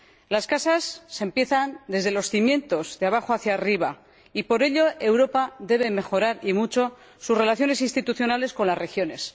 Las casas se empiezan desde los cimientos, de abajo hacia arriba, y por ello Europa debe mejorar, y mucho, sus relaciones institucionales con las regiones.